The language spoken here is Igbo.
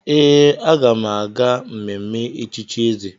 Ee, aga m aga mmemme echichi eze.